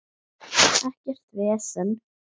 Ekkert vesen.